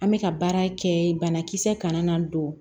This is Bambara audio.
An bɛ ka baara kɛ banakisɛ kana na don